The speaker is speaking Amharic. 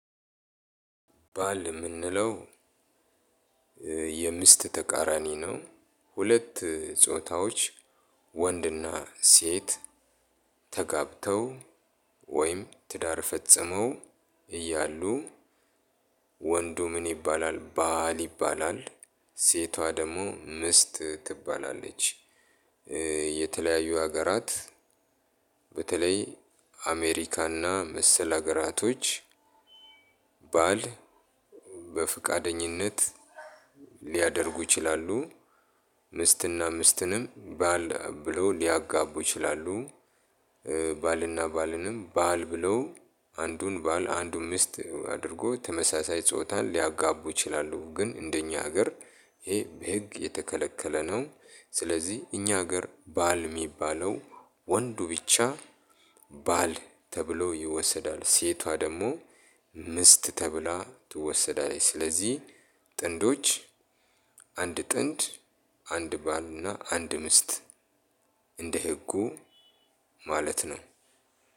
ባል የምንለው የሚስት ተቃራኒ ነው። ሁለት ጾታዎች ወንድና ሴት ተጋብተው ወይም ትዳር ፈጽመው እያሉ ወንዱ ምን ይባላል ባል ይባላል። ሴቷ ደግሞ ሚስት ትባላለች። የተለያዩ ሀገራት በተለይ አሜሪካ እና መሰል አገራቶች። ባል በፍቃደኝነት ሊያደርጉ ይችላሉ ሚስትና ሚስትንም ባል ብሎ ሊያጋቡ ይችላሉ። ባልና ባልንም ባል ብሎ አንዱን ባል አንዱን ሚስት አድርጎ ተመሳሳይ ጾታን ሊያጋቡ ይችላሉ ግን እንደኛ ሀገር ይሄ በህግ የተከለከለ ነው። ስለዚህ እኛ ሀገር ባል የሚባለው ወንዱ ብቻ ባል ተብሎ ይወሰዳል። ሴቷ ደግሞ ሚስት ተብላ ትወሰዳለች። ስለዚህ ጥንዶች አንድ ጥንድ አንድ ባልና አንድ ሚስት እንደ ህጉ ማለት ነው።